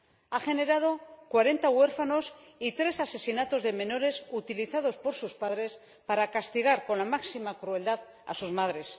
ha generado 40 huérfanos y tres asesinatos de menores, utilizados por sus padres para castigar con la máxima crueldad a sus madres.